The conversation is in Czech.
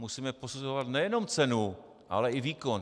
Musíme posuzovat nejenom cenu, ale i výkon.